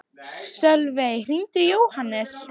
Sölvey, hringdu í Jóhannes.